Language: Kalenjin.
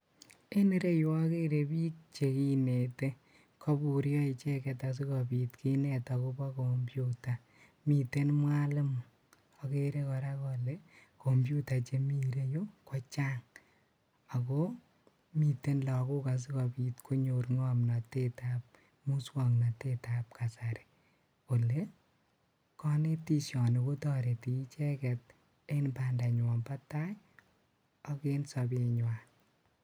En ireu okere piik cheginete. Kopuryo icheget asikopiit kinet akopo computer. Miten mwalimu. Okere kora ole, computer chemi ireu kochang' ako, miten lagok asikopiit konyor ng'omnotet ab musoknotet ab kasari. Ole, konetisioni kotoreti icheget en bandanywan bo tai ak en sobenywan